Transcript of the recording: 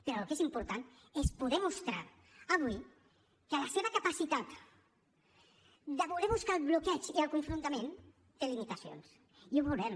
però el que és important és poder mostrar avui que la seva capacitat de voler buscar el bloqueig i el confrontament té limitacions i ho veurem